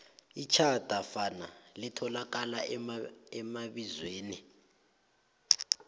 itjhadafana litholakala emabizweni